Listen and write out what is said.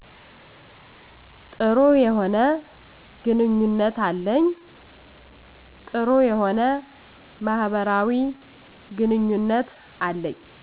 ጥሩ የሆነ ግንኙነት አለኝ ጥሩ የሆነ ማህበራዊ ግኑኝነት አለኝ